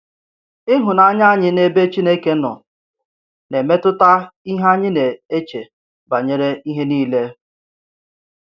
Ihụnanya anyị n’ebe Chineke nọ na-emetụta ihe anyị na-eche banyere ihe niile.